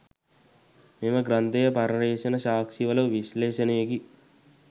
මෙම ග්‍රන්ථය පර්යේෂණ සාක්ෂි වල විශ්ලේෂණයකි.